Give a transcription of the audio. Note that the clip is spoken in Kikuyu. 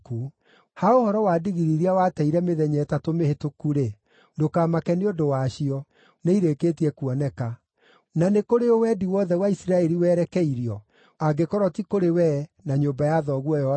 Ha ũhoro wa ndigiri iria wateire mĩthenya ĩtatũ mĩhĩtũku-rĩ, ndũkamake nĩ ũndũ wacio; nĩirĩkĩtie kuoneka. Na nĩ kũrĩ ũ wendi wothe wa Isiraeli werekeirio, angĩkorwo ti kũrĩ wee na nyũmba ya thoguo yothe?”